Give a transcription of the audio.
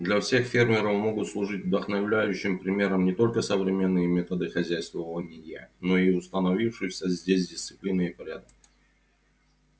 для всех фермеров могут служить вдохновляющим примером не только современные методы хозяйствования но и установившиеся здесь дисциплина и порядок